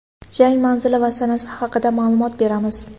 Jang manzili va sanasi haqida ma’lumot beramiz.